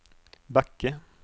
Backe